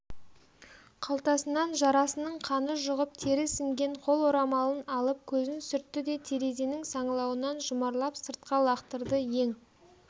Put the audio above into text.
қалтасынан жарасының қаны жұғып тері сіңген қол орамалын алып көзін сүртті де терезенің саңылауынан жұмарлап сыртқа лақтырды ең